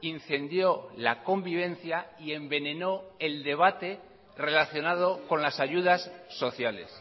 incendió la convivencia y envenenó el debate relacionado con las ayudas sociales